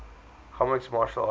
comics martial artists